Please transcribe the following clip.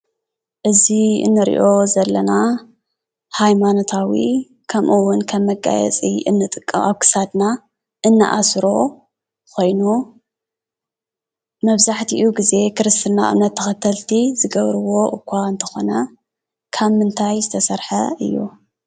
እዚ ንሪኦ ዘለና ሃይማኖታዊ ከምኡ እዉን ከም መጋየፂ እንጥቀሞ ኣብ ክሳድና እንኣስሮ ኮይኑ መብዛሕቲኡ ግዜ ክርስትና እምነት ተኸተልቲ ዝገብርዎ እኳ እንተኾነ ካብ ምንታይ ዝተሰርሐ እዩ?